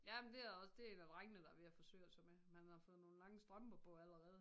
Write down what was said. Jamen det er også det en af drengene der er ved at forsøge sig med men han har fået nogle lange strømper på allerede